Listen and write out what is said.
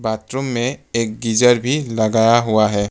Bathroom में एक geyser भी लगाया हुआ है।